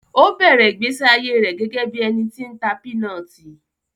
Ó bẹ̀rẹ̀ ìgbésí ayé rẹ̀ gẹ́gẹ́ bí ẹni tí ń ta pinọti